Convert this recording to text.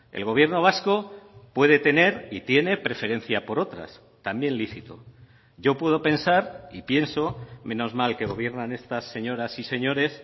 el gobierno vasco puede tener y tiene preferencia por otras también lícito yo puedo pensar y pienso menos mal que gobiernan estas señoras y señores